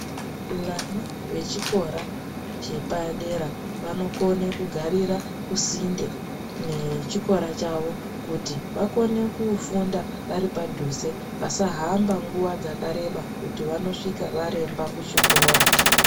Vana vechikora chepadera vanokone kugarira kusinde nechikora chavo ,kuti vakone kufunda vari padhuze, vasahamba nguwa dzakareba ,kuti vanosvika varemba kuchikora.